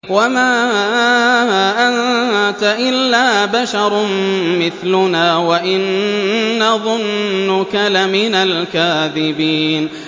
وَمَا أَنتَ إِلَّا بَشَرٌ مِّثْلُنَا وَإِن نَّظُنُّكَ لَمِنَ الْكَاذِبِينَ